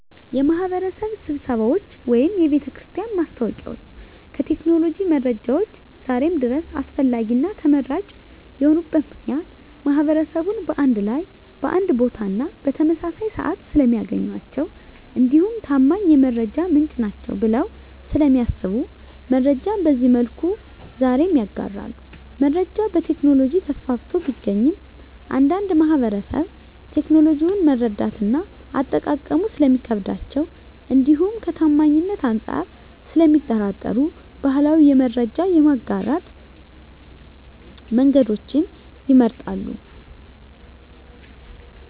የማህበረሰብ ስብሰባዎች ወይም የቤተክርስቲያን ማስታወቂያዎች ከቴክኖሎጂ መረጃዎች ዛሬም ድረስ አስፈላጊና ተመራጭ የሆኑበት ምክንያት ማህበረሰቡን በአንድ ላይ በአንድ ቦታና በተመሳሳይ ስዓት ስለሚያገኟቸው እንዲሁም ታማኝ የመረጃ ምንጭ ናቸዉ ብለው ስለሚያስቡ መረጃን በዚህ መልኩ ዛሬም ይጋራሉ። መረጃ በቴክኖሎጂ ተስፋፍቶ ቢገኝም አንዳንድ ማህበረሰብ ቴክኖሎጂውን መረዳትና አጠቃቀሙ ስለሚከብዳቸው እንዲሁም ከታማኝነት አንፃር ስለሚጠራጠሩ ባህላዊ የመረጃ የማጋራት መንገዶችን ይመርጣሉ።